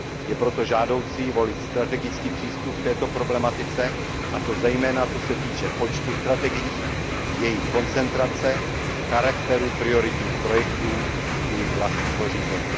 Je proto žádoucí volit strategický přístup k této problematice, a to zejména co se týče počtu strategií, jejich koncentrace, charakteru, prioritních projektů i vlastního řízení.